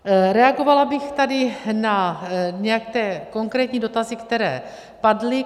Reagovala bych tady na nějaké konkrétní dotazy, které padly.